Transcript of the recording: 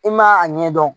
I ma a ɲɛdɔn